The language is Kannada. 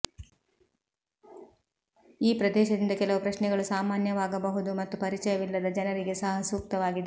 ಈ ಪ್ರದೇಶದಿಂದ ಕೆಲವು ಪ್ರಶ್ನೆಗಳು ಸಾಮಾನ್ಯವಾಗಬಹುದು ಮತ್ತು ಪರಿಚಯವಿಲ್ಲದ ಜನರಿಗೆ ಸಹ ಸೂಕ್ತವಾಗಿದೆ